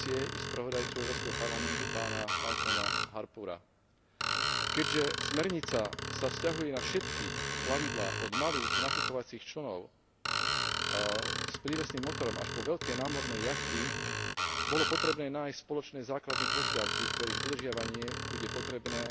z Komisie i spravodajcu Európskeho parlamentu pána Malcolma Harboura. Keďže smernica sa vzťahuje na všetky plavidlá od malých nafukovacích člnov s prívesným motorom až po veľké námorné jachty, bolo potrebné nájsť spoločné základné požiadavky, ktorých dodržiavanie bude potrebné